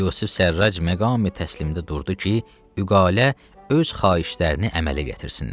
Yusif Sərrac məqami təslimdi durdu ki, vüqala öz xahişlərini əmələ gətirsinlər.